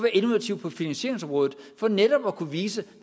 innovative på finansieringsområde for netop at kunne vise